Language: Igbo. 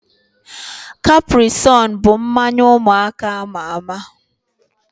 Caprisonne bụ mmanya ụmụaka ama ama